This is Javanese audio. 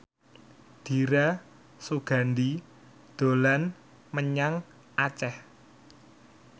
Dira Sugandi dolan menyang Aceh